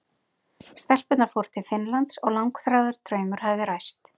Stelpurnar fóru til Finnlands og langþráður draumur hafði ræst.